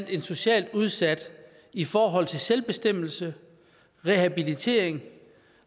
en socialt udsat i forhold til selvbestemmelse rehabilitering